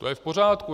To je v pořádku.